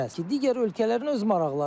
Ki, digər ölkələrin öz maraqları var.